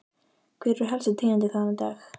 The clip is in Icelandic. Hver eru helstu tíðindi þaðan í dag?